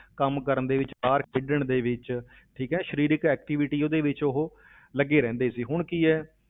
ਕੰਮ ਕਰਨ ਦੇ ਵਿੱਚ ਬਾਹਰ ਖੇਡਣ ਦੇ ਵਿੱਚ ਠੀਕ ਹੈ ਸਰੀਰਕ activity ਉਹਦੇ ਵਿੱਚ ਉਹ ਲੱਗੇ ਰਹਿੰਦੇ ਸੀ, ਹੁਣ ਕੀ ਹੈ